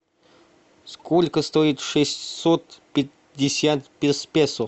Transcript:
сколько стоит шестьсот пятьдесят песо